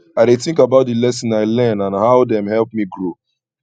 i dey think about di lessons i learn and how dem help me grow